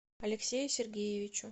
алексею сергеевичу